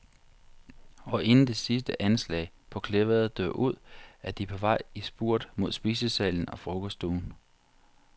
Og inden det sidste anslag på klaveret dør ud, er de på vej i spurt mod spisesalen og frokosten.